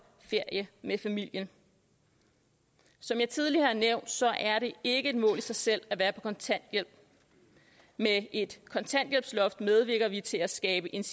ferie med familien som jeg tidligere har nævnt er det ikke et mål i sig selv at være på kontanthjælp med et kontanthjælpsloft medvirker vi til at skabe et